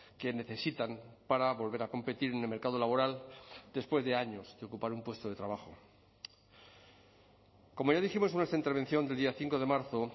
que necesitan para volver a competir en el mercado laboral después de años de ocupar un puesto de trabajo como ya dijimos en nuestra intervención del día cinco de marzo